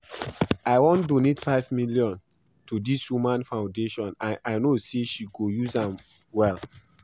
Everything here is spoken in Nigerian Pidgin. I wan donate five million to dis woman foundation and I know say she go use am well